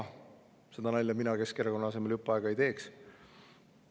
Seda nalja mina Keskerakonna asemel jupp aega ei teeks.